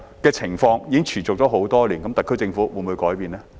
這情況已持續多年，特區政府會否改變呢？